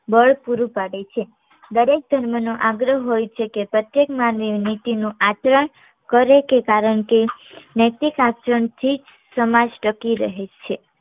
બળ પૂરું પાડે છે દરેક ધર્મનો આગ્રહ હોઈ છે કે પ્રત્યેક માનવીની નીતિ નું આચરણ કરે કારણ કે નૈતિક આચરણથી જ સમાજ ટકી રહે છે